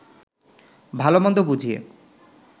ভালো-মন্দ বুঝিয়ে